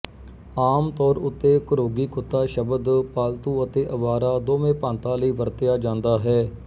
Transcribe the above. ਆਮ ਤੌਰ ਉੱਤੇ ਘਰੋਗੀ ਕੁੱਤਾ ਸ਼ਬਦ ਪਾਲਤੂ ਅਤੇ ਅਵਾਰਾ ਦੋਵੇਂ ਭਾਂਤਾਂ ਲਈ ਵਰਤਿਆ ਜਾਂਦਾ ਹੈ